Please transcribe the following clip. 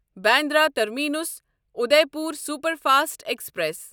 Bandra terminus Udaipur superfast express